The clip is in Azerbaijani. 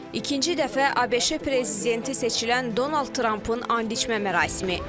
İkinci dəfə ABŞ prezidenti seçilən Donald Trampın andiçmə mərasimi.